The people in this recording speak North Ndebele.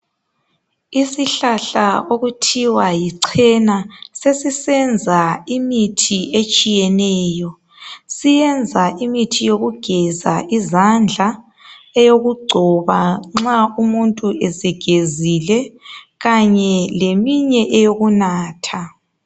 Isihlahla okuthiwa yichena sesisenza imithi etshiyeneyo. Siyenza imithi yokugeza izandla, eyokugcoba nxa umuntu esegezile , kanye lemithi eyokunatha.